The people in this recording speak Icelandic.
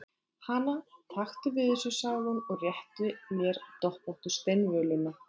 Hana, taktu við þessu, sagði hún og rétti mér doppóttu steinvöluna.